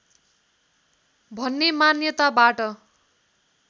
भन्ने मान्यताबाट